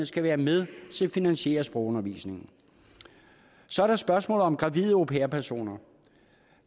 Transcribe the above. skal være med til at finansiere sprogundervisningen så er der spørgsmålet om gravide au pair personer